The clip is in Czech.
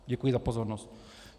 Děkuji za pozornost.